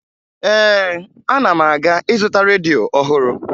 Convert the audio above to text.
Ee, ana m aga ịzụta redio ọhụrụ